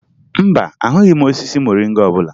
Mba, ahụghị osisi moringa ọbụla